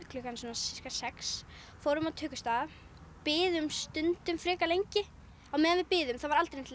klukkan sex fórum á tökustað biðum stundum frekar lengi á meðan við biðum var aldrei neitt